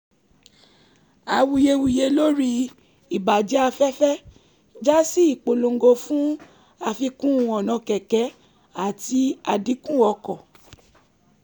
awuyewuye lórí ìbàjẹ́ afẹ́fẹ́ já sí ìpolongo fún àfikún ọ̀nà kẹ̀kẹ́ àti àdínkù ọkọ̀